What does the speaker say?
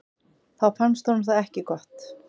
Þá fannst honum það ekki gott.